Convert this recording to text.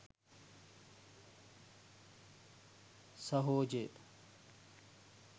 සහොජය